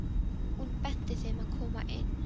Hún benti þeim að koma inn.